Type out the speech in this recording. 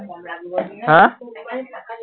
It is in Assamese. হা?